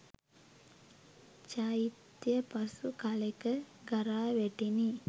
චෛත්‍යය පසු කලෙක ගරා වැටිණි.